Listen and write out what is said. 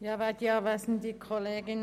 – Das ist nicht der Fall.